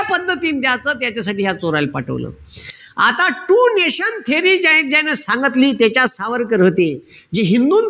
पद्धतीनं द्याच त्याच्यासाठी ह्या चोरायले पाठवलं. आता two nation theory जी आहे ती त्यानं सांगितली. त्याच्यात सावरकर होते. जे हिंदूंचा,